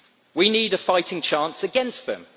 We need a fighting chance against them.